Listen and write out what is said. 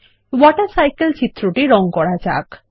water cycle চিত্রটি রঙ করা যাক